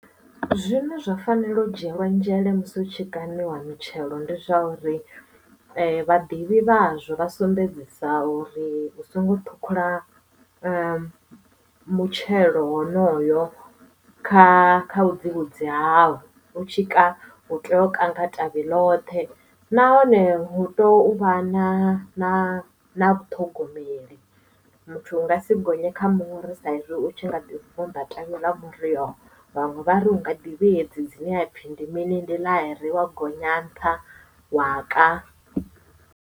Zwine zwa fanela u dzhielwa nzhele musi hu tshikaniwa mitshelo ndi zwa uri vhaḓivhi vhazwo vha sumbedzisa uri u songo ṱhukhula mutshelo honoyo kha kha vhudzivhudzi hao u tshika u tea u kanga tavhi ḽothe nahone hu tou vha na na na vhaṱhogomeli muthu u nga si gonye kha muri sa izwi u tshi nga vunḓa ṱavhi ḽa muri uyo vhanwe vhari unga ḓi vhea edzi dzine ha pfhi ndi mini ndi ḽairi wa gonya nṱha wa ka.